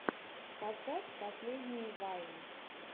поставь последние вайны